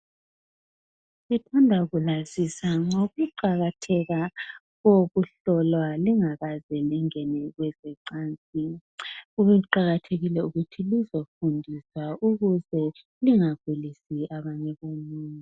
Ngithanda kulazisa ngokuqakatheka kokuhlolwa lingakaze lingene Kwezecansini kuqakathekile ukuthi lizofundiswa ukuze lingagulisi abanye abantu.